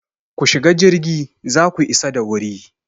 Ku shiga jirgi za ku isa da wuri!